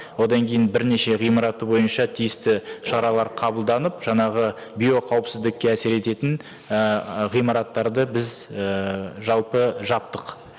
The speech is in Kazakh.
одан кейін бірнеше ғимараты бойынша тиісті шаралар қабылданып жаңағы биоқауіпсіздікке әсер ететін ііі ғимараттарды біз ііі жалпы жаптық